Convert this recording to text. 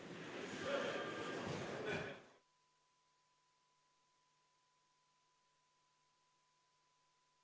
Istungi lõpp kell 12.00.